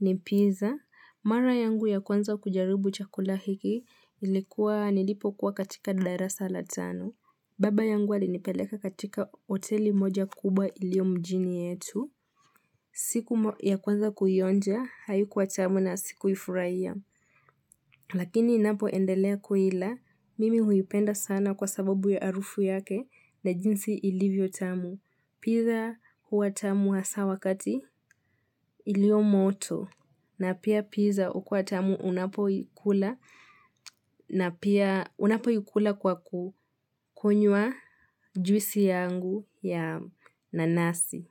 ni pizza. Mara yangu ya kwanza kujaribu chakula hiki ilikuwa nilipokuwa katika darasa la tano. Baba yangu alinipeleka katika hoteli moja kubwa ilio mjini yetu. Siku ya kwanza kuionja, haikuwa tamu na sikuifurahia. Lakini ninapoendelea kuila, mimi huipenda sana kwa sababu ya harufu yake na jinsi ilivyo tamu. Pizza huwa tamu hasa wakati ilio moto na pia pizza hukua tamu unapoikula na pia unapoikula kwa kukunywa juisi yangu ya nanasi.